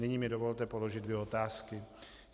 Nyní mi dovolte položit dvě otázky.